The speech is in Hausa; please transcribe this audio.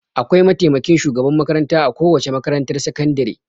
Akwai mataimakin shugaban makaranta a kowace makarantar sakandire.